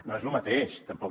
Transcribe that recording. no és lo mateix tampoc